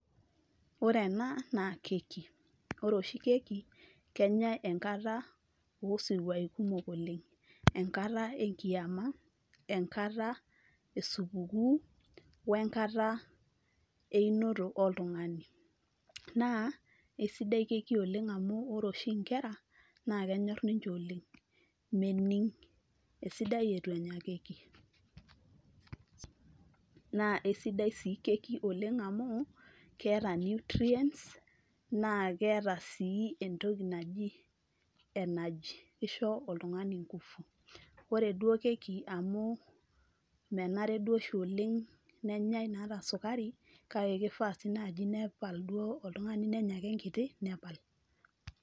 Ore ena naakeki, ore oshi keki kenyae enkata osiruai kumok oleng. Enkata enkiama, enkata esupukuu , wenkata einoto oltungani . Naa isidai keki oleng amu ore oshi inkera naa kenyor ninche oleng , mening esidai eitu enya keki . Naa isidai sii kekioleng amukeeta nutrients naa keeta sii entoki naji energy, kisho oltungani nkufu. Ore duoo keki amu menare duoo oshi oleng nenyae naata sukari ,kake kifaa si duo oltungani nenya ake enkiti , nepal .